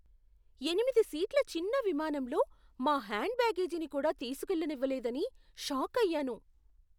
ఎనిమిది సీట్ల చిన్న విమానంలో మా హ్యాండ్ బ్యాగేజీని కూడా తీసుకెళ్లనివ్వలేదని షాకయ్యాను!